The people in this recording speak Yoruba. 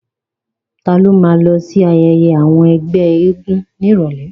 Ta ló ma lọ sí ayẹyẹ àwọn ẹgbẹ́ eégún ní ìrọ̀lẹ́?